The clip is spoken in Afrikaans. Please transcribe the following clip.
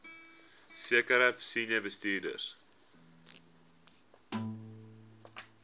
sekere senior bestuurders